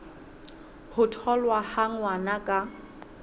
ho tholwa ha ngwana ka